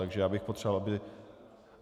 Takže já bych potřeboval, aby...